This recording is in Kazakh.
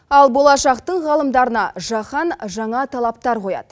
ал болашақтың ғалымдарына жаһан жаңа талаптар қояды